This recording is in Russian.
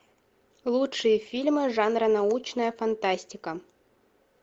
лучшие фильмы жанра научная фантастика